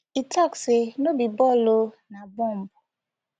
e tok say no be ball o na bomb